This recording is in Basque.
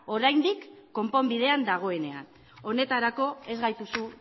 oraindik konponbidean dagoenean honetarako ez gaituzu